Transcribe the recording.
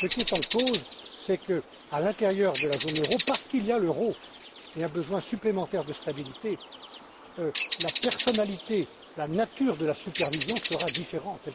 Ce qui est en cause, c'est qu'à l'intérieur de la zone euro, parce qu'il y a l'euro et un besoin supplémentaire de stabilité, la personnalité, la nature de la supervision sera différente.